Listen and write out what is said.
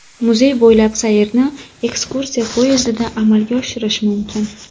Muzey bo‘ylab sayrni ekskursiya poyezdida amalga oshirish mumkin.